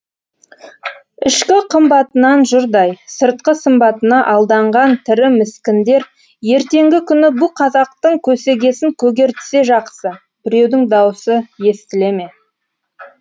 ішкі қымбатынан жұрдай сыртқы сымбатына алданған тірі міскіндер ертеңгі күні бұ қазақтың көсегесін көгертсе жақсы біреудің даусы естіле ме